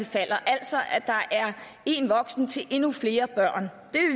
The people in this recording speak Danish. falder altså at der er én voksen til endnu flere børn det